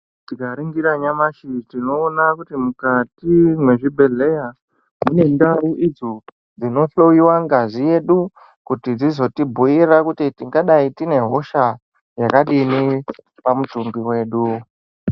Tikaringira nyamashi tinoona kuti mukati mwezvibhehleya mune ndau idzo munohloyiwa ngazi yedu kuti dzizotibhuira kuti tingadai tine hosha yakadini pamutumbi wedu.